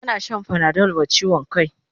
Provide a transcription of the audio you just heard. Ana shan panadol wa chiwon kai